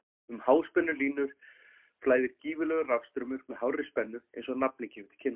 Um háspennulínur flæðir gífurlegur rafstraumur með hárri spennu eins og nafnið gefur til kynna.